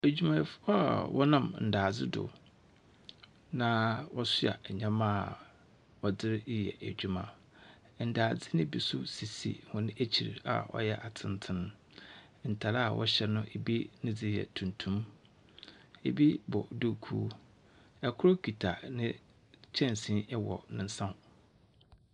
Adwumayɛfo a wɔnam ndaadze do. Na wɔsoa nyɛma wɔde reyɛ adwuma. Ndaadze no bi nso sisi wɔn akyir a ɔyɛ atsentsean. Ntar a wɔhyɛ no ebi ne dze yɛ tuntum. Ebi bɔ dukuu. Ikor kita ne kyɛnsee wɔ ne nsa ho.